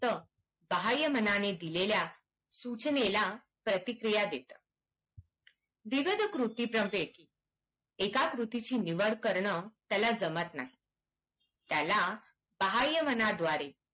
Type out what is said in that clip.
फक्त बाह्य मनाने दिलेल्या सूचनेला प्रतिक्रिया देतं विविध कृती प्रवेश एकाच गोस्टीची निवड करणे त्याला जमत नाही त्याला बाह्यमनाद्वारे